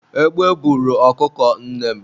egbe buru ọkụkọ nnem